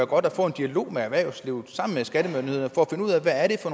godt at få en dialog med erhvervslivet